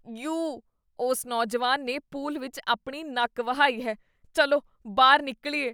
You! ਉਸ ਨੌਜਵਾਨ ਨੇ ਪੂਲ ਵਿੱਚ ਆਪਣੀ ਨੱਕ ਵਹਾਈ ਹੈ। ਚੱਲੋਬਾਹਰ ਨਿਕਲੀਏ।